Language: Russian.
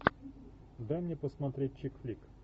дай мне посмотреть чик флик